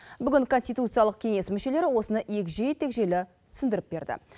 бүгін конституциялық кеңес мүшелері осыны егжей тегжейлі түсіндіріп берді